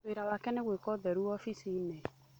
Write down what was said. Wĩra wake nĩ gwĩka ũtheru oficinĩ.